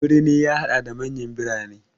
Birni ya haɗa da manyan birane.